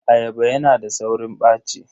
Ayaba yana da saurin ɓaci.